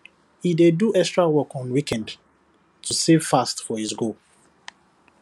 he dey do extra work on weekend to save fast for his goal